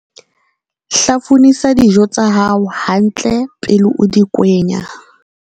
Hlafunisa dijo tsa hao hantle pele o di kwenya.